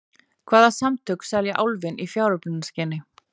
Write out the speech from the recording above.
Hvaða samtök selja Álfinn í fjáröflunarskyni?